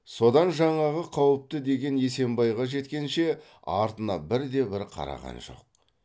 содан жаңағы қауіпті деген есембайға жеткенше артына бірде бір қараған жоқ